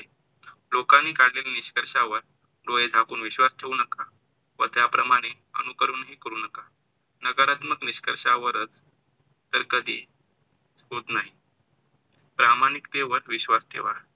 लोकांनी काढलेल्या निष्कर्षावर डोळे झाकून विश्वास ठेऊ नका व त्याप्रमाणे अनुकरण हि करू नका. नकारात्मक निष्कर्षांवरच तर कधी होत नाही प्रामाणिकते वर विश्वास ठेवा.